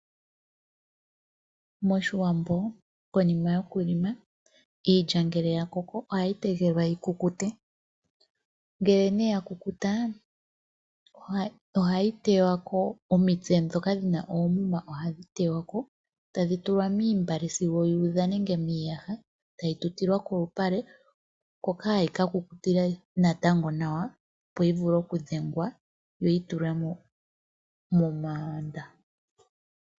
Moshiwambo konima yokulima iilya ohayi tegelelika yikukute. Ngele ne ya kukuta, ohayi tewa ko, omitse ndhoka dhina oomuma ohayi tewa ko, tadhi tulwa moontungwa sigo yu udha nenge miiyaha, tayi tutilwa kolupale, hoka hayi ka kukutila ko nàwa yo yi vule oku dhengwa, yi tutilwe miigandhi .